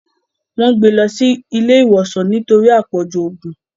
Wón gbé ló sì ilé ìwòsàn nítorí apọju oògùn.